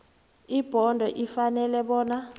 ibhodo ifanele bona